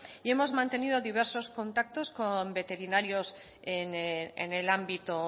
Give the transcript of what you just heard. y hemos mantenido diversos contactos con veterinarios en el ámbito